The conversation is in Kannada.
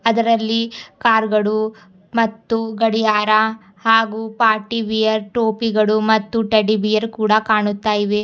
ಅದರಲ್ಲಿ ಕಾರ್ ಗಳು ಮತ್ತು ಗಡಿಯಾರ ಹಾಗು ಪಾರ್ಟಿ ವಿಯರ್ ಟೋಪಿಗಳು ಮತ್ತು ಟೆಡ್ಡಿ ಬಿಯರ್ ಕೂಡ ಕಾಣುತ್ತಾ ಇವೆ.